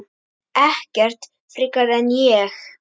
Ekkert frekar en ég.